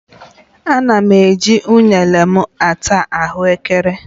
M na-eji ụnene m ata ahuekere